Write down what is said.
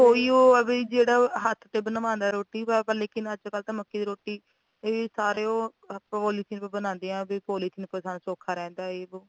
ਹਾਂ ਕੋਈ ਉਹ ਆ ਵੀ ਜਿਹੜਾ ਹੱਥ ਤੇ ਬਣਵਾਉਂਦਾ ਰੋਟੀ ਪਰ ਅੱਜ ਕੱਲ ਤਾਂ ਮੱਕੀ ਦੀ ਰੋਟੀ ਵੀ ਸਾਰੇ ਓ ਪੌਲੀਥੀਨ ਤੇ ਬਣਾਦੇ ਆ ਵੀ ਪੌਲੀਥੀਨ ਸੌਖਾ ਰਹਿੰਦਾ ਏ